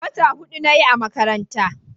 wata hudu nayi a makaranta